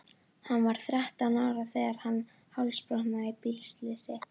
Hann var þrettán ára þegar hann hálsbrotnaði í bílslysi.